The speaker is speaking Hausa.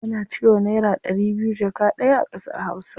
Ana cewa naira ɗari biyu jaka ɗaya a ƙasar hausa.